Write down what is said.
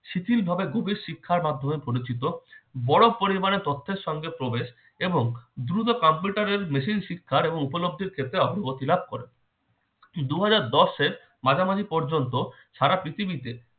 শিথিল ভাবে খুবই শিক্ষার মাধ্যমে পরিচিত। বড় পরিবারের তথ্যের সঙ্গে প্রবেশ এবং দ্রুত computer এর machine শিক্ষার এবং উপলব্ধির ক্ষেত্রে অগ্রগতি লাভ করে। দুহাজার দশ এর মাঝামাঝি পর্যন্ত সারা পৃথিবীতে